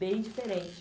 Bem diferente.